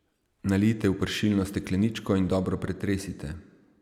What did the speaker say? Nalijte v pršilno stekleničko in dobro pretresite.